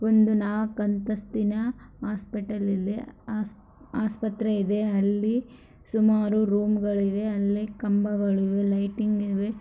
ಒಂದು ನಾಲ್ಕು ಅಂತಸ್ತಿನ ಹಾಸ್ಪಿಟಲ್ ಅಲ್ಲಿ ಆಸ್ಪತ್ರೆ ಇದೆ ಅಲ್ಲಿ ಸುಮಾರು ರೂಂ ಗಳು ಇವೆ ಅಲ್ಲಿ ಕಂಬಗಳು ಇವೆ ಲೈಟಿಂಗ್ ಇವೆ.